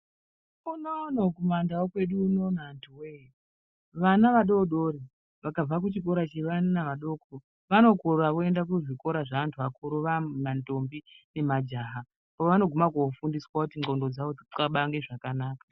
Kunouno kumaNdau kwedu unouno antuwee, vana vadori dori vakabva kuchikora chevana vadoko, vanokura voenda kuzvikora zvaantu akuru vamandombi nemajaha kwavanoguma kofundiswa kuti ndxondo dzavo dzixabange zvakanaka.